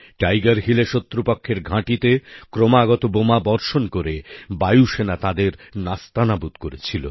tiger হিলএ শত্রুপক্ষের ঘাঁটিতে ক্রমাগত বোমাবর্ষণ করে বায়ুসেনা তাদের নাস্তানাবুদ করেছিল